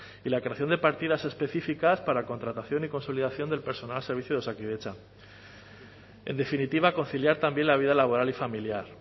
y la creación de partidas específicas para contratación y consolidación del personal al servicio de osakidetza en definitiva conciliar también la vida laboral y familiar